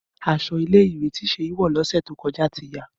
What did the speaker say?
Aṣọ ile-iwe Seyi ti wọ si ọsẹ to kọja ti ya.